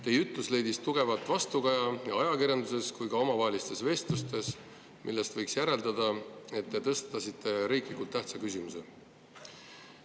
Teie ütlus leidis tugevat vastukaja nii ajakirjanduses kui ka omavahelistes vestlustes, millest võiks järeldada, et te tõstatasite riiklikult tähtsa küsimuse.